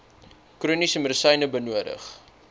chroniese medisyne benodig